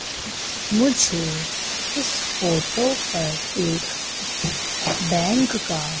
मुझे इस फोटो पर एक बैंक का--